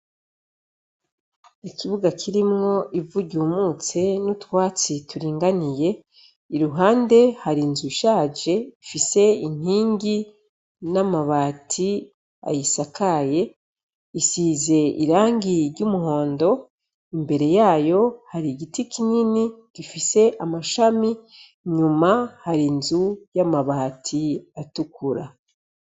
Ikibuga kirimwo ivu ryumutse n'utwatsi turinganiye, iruhande hari inzu ishaje ifise inkingi n'amabati ayisakaye, isize irangi ry'umuhondo, imbere yayo hari igiti kinini gifise amashami, inyuma hari inzu y'amabati atukura.